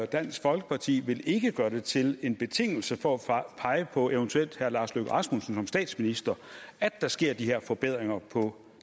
dansk folkeparti ikke vil gøre det til en betingelse for at pege på eventuelt herre lars løkke rasmussen som statsminister at der sker de her forbedringer på